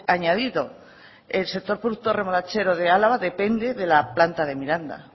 añadido el sector productor remolachero de álava depende de la planta de miranda